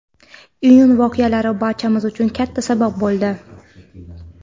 Iyun voqealari barchamiz uchun katta saboq bo‘ldi.